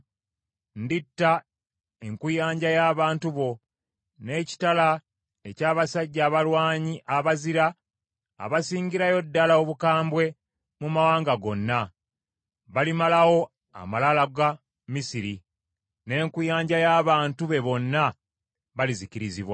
Nditta enkuyanja y’abantu bo n’ekitala eky’abasajja abalwanyi abazira, abasingirayo ddala obukambwe mu mawanga gonna. Balimalawo amalala ga Misiri, n’enkuyanja y’abantu be bonna balizikirizibwa.